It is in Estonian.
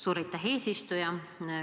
Suur aitäh, eesistuja!